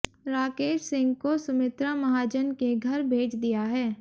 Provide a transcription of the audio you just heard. राकेश सिंह को सुमित्रा महाजन के घर भेज दिया है